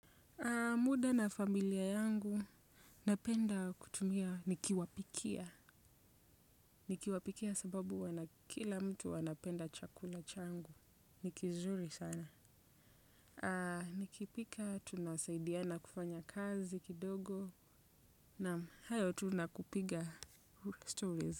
Muda na familia yangu napenda kutumia nikiwapikia. Nikiwapikia sababu wana kila mtu wanapenda chakula changu. Ni kizuri sana. Nikipika, tunasaidiana kufanya kazi kidogo. Naam hayo tu nakupiga stories.